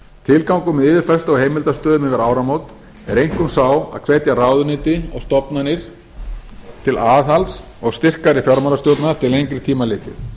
tilgangur með á heimildastöðu yfir áramót er einkum sá að hvetja ráðuneyti og stofnanir til aðhalds og styrkari fjármálastjórnar til lengri tíma litið